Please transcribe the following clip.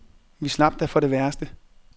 Vi slap da for det værste.